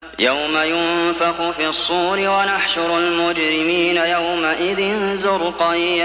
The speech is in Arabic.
يَوْمَ يُنفَخُ فِي الصُّورِ ۚ وَنَحْشُرُ الْمُجْرِمِينَ يَوْمَئِذٍ زُرْقًا